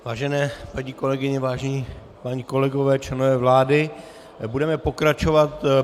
Vážené paní kolegyně, vážení páni kolegové, členové vlády, budeme pokračovat.